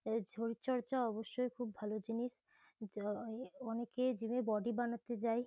এ শরীরচর্চা অবশ্যই খুব ভালো জিনিস। যা এ অনেকেই জিম -এ বডি বানাতে যায়।